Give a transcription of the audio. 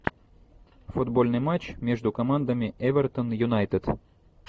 футбольный матч между командами эвертон юнайтед